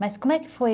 Mas como é que foi?